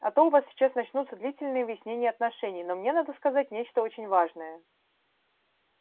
а то у вас сейчас начнутся длительные выяснения отношений но мне надо сказать нечто очень важное